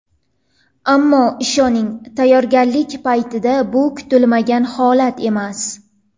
Ammo ishoning, tayyorgarlik paytida bu kutilmagan holat emas.